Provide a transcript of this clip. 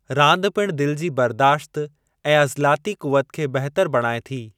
रांदि पिणु दिलि जी बर्दाश्त ऐं अज़लाती क़ुवत खे बहितर बणाए थो।